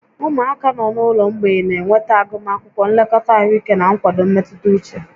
Ụmụaka nọ n'ụlọ mgbei na-enweta agụmakwụkwọ, nlekọta ahụike, na nkwado mmetụta uche